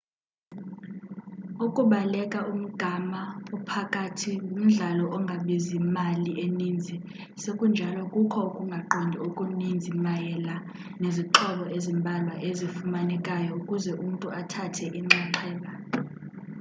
ukubaleka umgama ophakathi ngumdlalo ongabizi mali eninzi sekunjalo kukho ukungaqondi okuninzi mayela nezixhobo ezimbalwa ezifunekayo ukuze umntu athathe inxaxheba